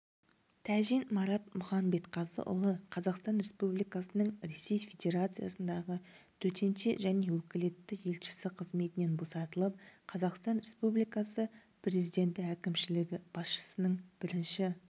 тәжин марат мұханбетқазыұлы қазақстан республикасының ресей федерациясындағы төтенше және өкілетті елшісі қызметінен босатылып қазақстан республикасы президенті әкімшілігі басшысының бірінші